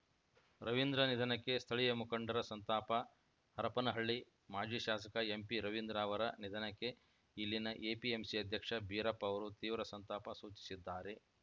ರವೀಂದ್ರ ನಿಧನಕ್ಕೆ ಸ್ಥಳೀಯ ಮುಖಂಡರ ಸಂತಾಪ ಹರಪನಹಳ್ಳಿ ಮಾಜಿ ಶಾಸಕ ಎಂಪಿರವೀಂದ್ರ ಅವರ ನಿಧನಕ್ಕೆ ಇಲ್ಲಿನ ಎಪಿಎಂಸಿ ಅಧ್ಯಕ್ಷ ಬೀರಪ್ಪ ಅವರು ತೀವ್ರ ಸಂತಾಪ ಸೂಚಿಸಿದ್ದಾರೆ